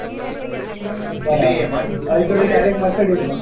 બરાબર alto થી direct mercedes મા